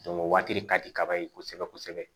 o waati de ka di kaba ye kosɛbɛ kosɛbɛ